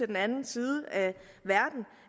den anden side